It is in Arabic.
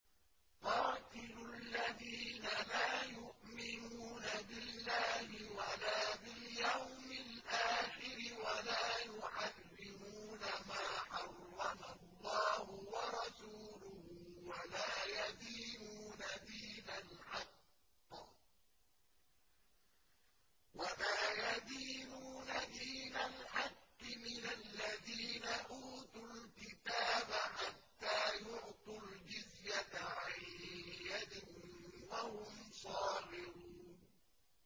قَاتِلُوا الَّذِينَ لَا يُؤْمِنُونَ بِاللَّهِ وَلَا بِالْيَوْمِ الْآخِرِ وَلَا يُحَرِّمُونَ مَا حَرَّمَ اللَّهُ وَرَسُولُهُ وَلَا يَدِينُونَ دِينَ الْحَقِّ مِنَ الَّذِينَ أُوتُوا الْكِتَابَ حَتَّىٰ يُعْطُوا الْجِزْيَةَ عَن يَدٍ وَهُمْ صَاغِرُونَ